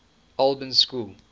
albans school